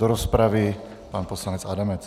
Do rozpravy pan poslanec Adamec.